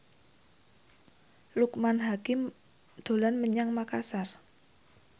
Loekman Hakim dolan menyang Makasar